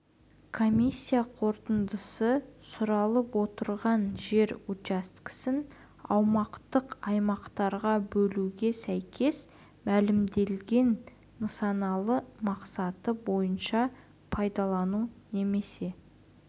комиссия қорытындысы сұралып отырған жер учаскесін аумақтық аймақтарға бөлуге сәйкес мәлімделген нысаналы мақсаты бойынша пайдалану немесе